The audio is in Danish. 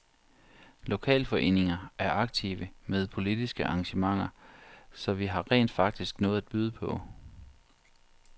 Lokalforeninger er aktive med politiske arrangementer, så vi har rent faktisk noget at byde på.